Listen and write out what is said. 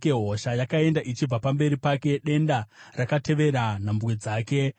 Hosha yakaenda ichibva pamberi pake; denda rakatevera nhambwe dzake.